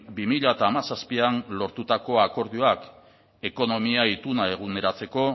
bi mila hamazazpian lortutako akordioak ekonomia ituna eguneratzeko